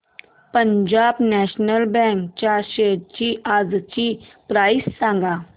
Punjab National Bank च्या shares आजची price सांगा